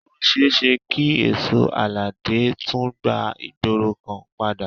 Ó ṣeéṣe kí èsó aládé tún gba ìgboro kan padà